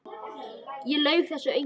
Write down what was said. Það laug þessu enginn.